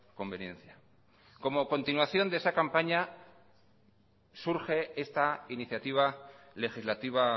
conveniencia como continuación de esa campaña surge esta iniciativa legislativa